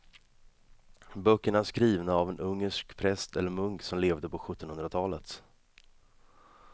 Böckerna är skrivna av en ungersk präst eller munk som levde på sjuttonhundratalet.